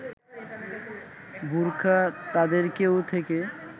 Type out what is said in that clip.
বোরখা তাদের ‘কেউ’ থেকে